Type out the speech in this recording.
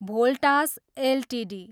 Voltas Ltd